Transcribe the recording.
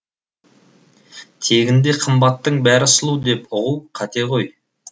тегінде қымбаттың бәрі сұлу деп ұғу қате ғой